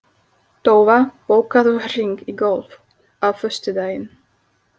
Tófa, bókaðu hring í golf á föstudaginn.